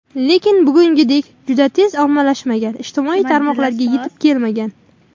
Lekin bugungidek juda tez ommalashmagan, ijtimoiy tarmoqlarga yetib kelmagan.